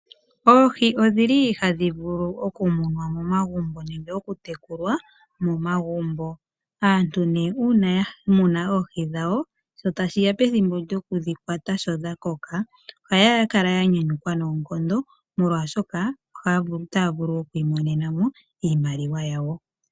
Oohi odhi li hadhi vulu okumunwa momagumbo nenge oku tekulwa momagumbo. Aantu nee uuna ya muna oohi dhawo sho tashi ya pethimbo lyoku dhi kwata sho dha koka ohaya kala ya nyanyukwa noonkondo molwaashoka otaa vulu oku imonena mo iimaliwa yawo.